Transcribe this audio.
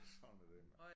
Sådan er det